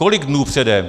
Kolik dnů předem?